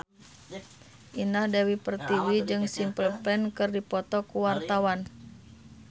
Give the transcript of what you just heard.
Indah Dewi Pertiwi jeung Simple Plan keur dipoto ku wartawan